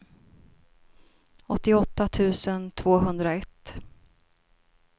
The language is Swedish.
åttioåtta tusen tvåhundraett